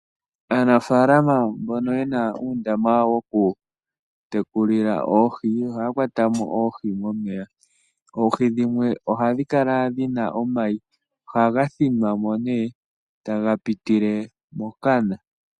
Aanafalama mbono yena uundama wokutekulila oohi ohaya kwatamo oohi momeya. Oohi dhimwe ohadhi kala dhina omayi nohaga thinwamo taga pitile kokana.